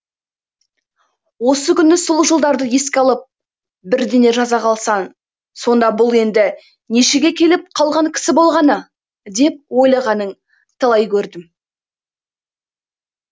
осы күні сол жылдарды еске алып бірдеңе жаза қалсаң сонда бұл енді нешеге келіп қалған кісі болғаны деп ойлағанын талай көрдім